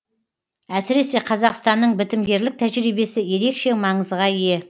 әсіресе қазақстанның бітімгерлік тәжірибесі ерекше маңызға ие